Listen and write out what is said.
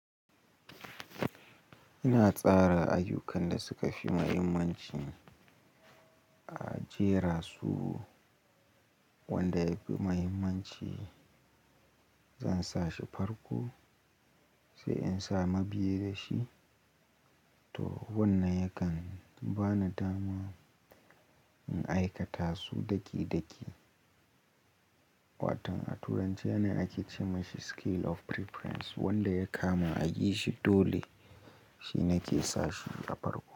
Ina tsara ayyukan da suka fi muhimmanci, a jera su, wanda yafi muhimmanci. Zan sa shi farko sai in samu biri shi, to wannan yakan bani dama in aikata su daki-daki. Waton a turanci ana ake ce mashi scale of preference wanda ya kama ayi shi dole. Shi nake ke sa shi a farko.